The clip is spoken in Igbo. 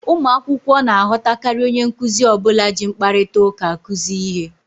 Ụmụ akwụkwọ na-aghọtakarị onye nkuzi ọbụla ji mkparịta ụka akụzi ihe